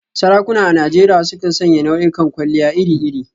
Sarakuna a Najeriya sukan sanya nau'ikan kwalliya iri-iri.